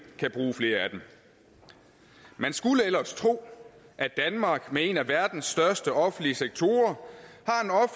kan bruge flere af dem man skulle ellers tro at danmark med en af verdens største offentlige sektorer